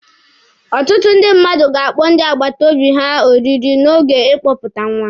Ọtụtụ ndị mmadụ ga-akpọ ndị akpata obi ha oriri n'oge ịkpọpụta nwa.